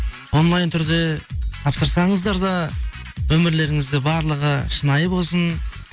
онлайн түрде тапсырсаңыздар да өмірлеріңізде барлығы шынайы болсын